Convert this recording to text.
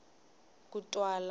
kutwala